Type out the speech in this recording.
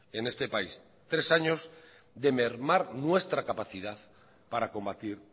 en este país tres años de mermar nuestra capacidad para combatir